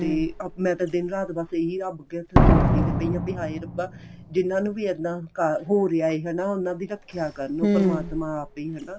ਤੇ ਮੈਂ ਤਾਂ ਦਿਨ ਰਾਤ ਬੱਸ ਇਹੀ ਰੱਬ ਅੱਗੇ ਹੱਥ ਜੋੜਦੀ ਪਈ ਆ ਵੀ ਹਾਏ ਰੱਬਾ ਜਿੰਨਾ ਨੂੰ ਵੀ ਇੱਦਾਂ ਕਰ ਹੋ ਰਿਹਾ ਏ ਹਨਾ ਉਨ੍ਹਾਂ ਦੀ ਰੱਖਿਆ ਪਰਮਾਤਮਾ ਆਪ ਈ ਹਨਾ